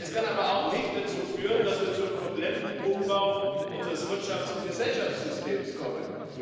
Es kann aber auch nicht dazu führen, dass wir zum kompletten Umbau unseres Wirtschafts und Gesellschaftssystems kommen.